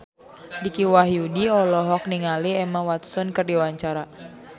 Dicky Wahyudi olohok ningali Emma Watson keur diwawancara